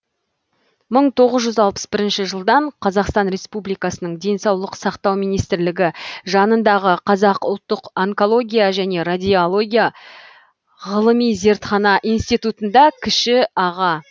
мың тоғыз жүз алпыс бірінші жылдан қазақстан республикасының денсаулық сақтау министрлігі жанындағы қазақ ұлттық онкология және радиология ғылыми зертхана институтында кіші аға